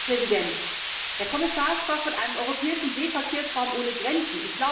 Herr Präsident! Der Kommissar sprach von einem europäischen Seeverkehrsraum ohne Grenzen.